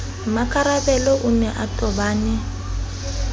mmakarabelo o ne a tobane